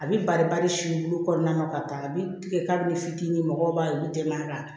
A bɛ bari bari olu kɔnɔna na ka taa a bɛ tigɛ kabini fitinin mɔgɔw b'a yir'u denmaya ka